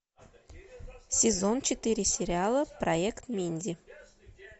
сезон четыре сериала проект минди